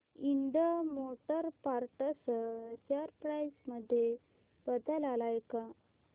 Ind motor parts share price मध्ये बदल आलाय का